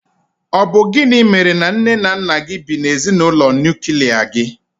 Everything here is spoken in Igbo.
Ọ bụ gịnị mèrè na nné nna gị bị na ezinaụlọ nuklia gi?